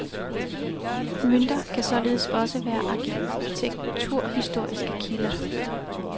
Mønter kan således også være arkitekturhistoriske kilder.